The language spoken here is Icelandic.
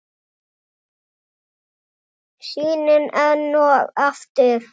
Sýnin enn og aftur.